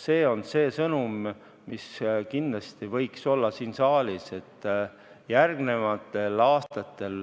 See on see sõnum, mis kindlasti võiks siin saalis kõlada, et järgnevatel aastatel